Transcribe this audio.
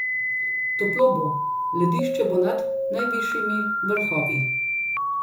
Toplo bo, ledišče bo nad najvišjimi vrhovi.